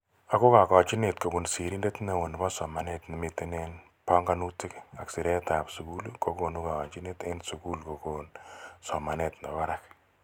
Ako kakajinet kobun sirender neo nebo somanet ne mitei eng panganutik ak siret ab sugul kokunu kayanchinet eng sukul kokun somanet nebo barak.